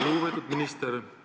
Lugupeetud minister!